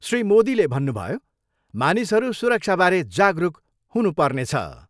श्री मोदीले भन्नुभयो, मानिसहरू सुरक्षाबारे जागरुक हुन पेर्नछ।